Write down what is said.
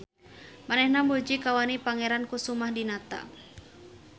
Manehna muji kawani Pangeran Kusumah Dinata.